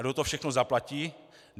A kdo to všechno zaplatí?